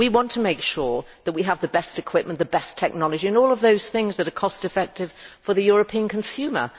We want to make sure that we have the best equipment, the best technology and all those things that are cost effective for the European consumer.